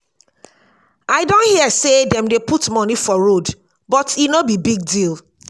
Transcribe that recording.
i don hear say dem dey put money for road but e no be big deal.